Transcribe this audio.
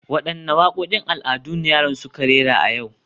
Wadanne wakokin al'adu ne yaran suke rera a yau